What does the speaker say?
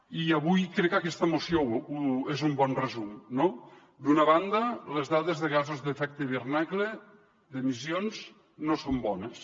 i avui crec que aquesta moció n’és un bon resum no d’una banda les dades de gasos d’efecte hivernacle d’emissions no són bones